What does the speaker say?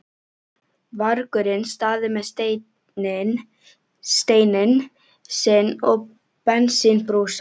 vargurinn staðið með steininn sinn og bensínbrúsa.